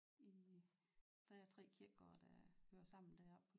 I der er 3 kirkegårde der hører sammen deroppe på